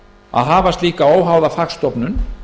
að hafa slíka óháða fagstofnun